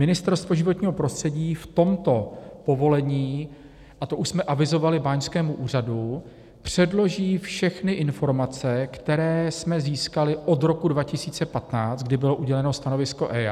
Ministerstvo životního prostředí v tomto povolení - a to už jsme avizovali báňskému úřadu - předloží všechny informace, které jsme získali od roku 2015, kdy bylo uděleno stanovisko EIA.